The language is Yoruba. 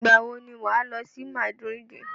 Ìgbàwo ni wà á lọ sí Madrid?